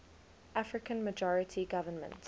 african majority government